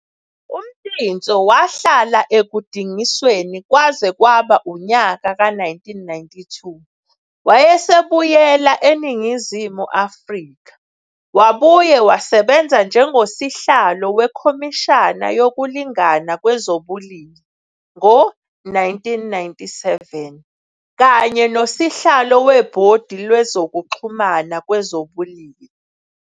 UMtintso wahlala ekudingisweni kwaze kwaba unyaka ka 1992 wayesebuyela eNingizimu Afrika. Wabuye wasebenza njengosihlalo wekhomishana yokulingana kwezobulili ngo 1997, kanye nosihlalo webhodi lwezokuxhumana kwezobulili.